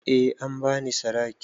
Eh an ba ni sadaki.